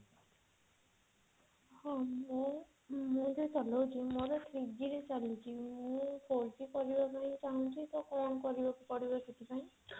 ହଁ ମୁଁ ମୁଁ ଯୋଉ ଚଲୋଉଛି ମୋର three G ରେ ଚାଲିଛି ମୁଁ four G କରିବାକୁ ଚାହୁଁଛି ତ କଣ କରିବାକୁ ପଡିବ ସେଥିପାଇଁ